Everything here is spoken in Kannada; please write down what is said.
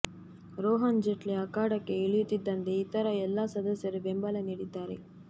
ರೋಹನ್ ಜೇಟ್ಲಿ ಅಖಾಡಕ್ಕೆ ಇಳಿಯುತ್ತಿದ್ದಂತೆ ಇತರ ಎಲ್ಲಾ ಸದಸ್ಯರು ಬೆಂಬಲ ನೀಡಿದ್ದಾರೆ